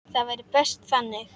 Það væri best þannig.